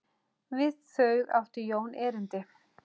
Við þau átti Jón erindi.